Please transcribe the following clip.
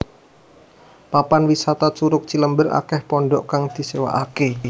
Papan wisata Curug Cilember akeh pondhok kang disewaaké